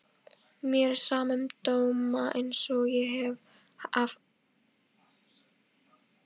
Mér er sama um dóma einsog ég hef sagt þér.